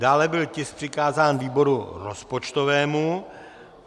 Dále byl tisk přikázán výboru rozpočtovému.